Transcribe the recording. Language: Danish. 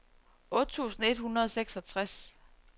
otte tusind et hundrede og seksogtres